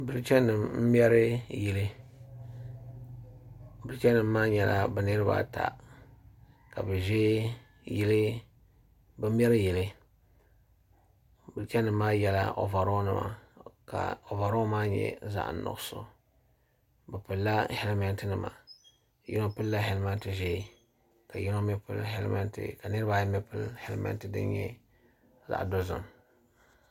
Bilicha nima m mɛri yili Bilicha nima maa nyɛla bɛ n ata iriba ka bɛ meri yili bilicha nima maa yela ovaro nima ka ovaro maa nyɛ zaɣa nuɣuso bɛ pilila helimenti nima yino pilila helimenti ʒee ka niriba ayi nyɛ ban pili helimenti din nyɛ zaɣa dozim.